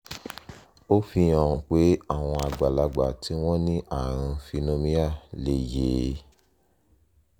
ó fi hàn pé àwọn àgbàlagbà tí wọ́n ní ààrùn phenomia lè yè é